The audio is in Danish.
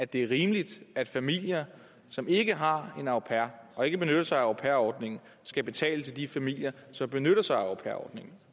det er rimeligt at familier som ikke har en au pair og ikke benytter sig af au pair ordningen skal betale til de familier som benytter sig af au pair ordningen